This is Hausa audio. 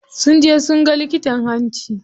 Sun je sunga likitan hanci.